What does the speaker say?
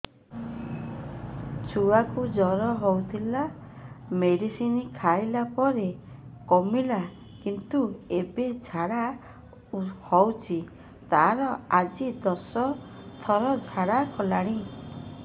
ଛୁଆ କୁ ଜର ହଉଥିଲା ମେଡିସିନ ଖାଇଲା ପରେ କମିଲା କିନ୍ତୁ ଏବେ ଝାଡା ହଉଚି ତାର ଆଜି ଦଶ ଥର ଝାଡା କଲାଣି